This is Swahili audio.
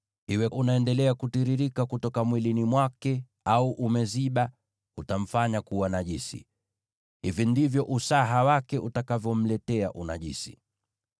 Iwe unaendelea kutiririka kutoka mwilini mwake au umeziba, utamfanya kuwa najisi. Hivi ndivyo usaha wake utakavyomletea unajisi: